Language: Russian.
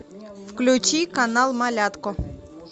включи канал малятко